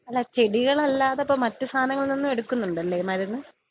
അല്ലാ ചെടികളല്ലാതെ മറ്റു സാധനങ്ങളിൽ നിന്നും എടുക്കുന്നുണ്ടല്ലേ മരുന്ന്?